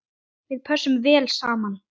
Við pössum vel saman.